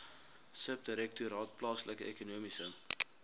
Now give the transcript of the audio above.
subdirektoraat plaaslike ekonomiese